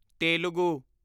Telugu